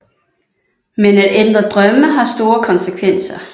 Men at ændre drømme har store konsekvenser